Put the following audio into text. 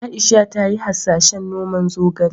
Aisha ta yi hasashen noman zogale.